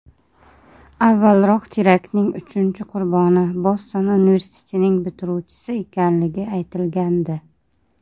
Avvalroq teraktning uchinchi qurboni Boston universitetining bitiruvchisi ekanligi aytilgandi.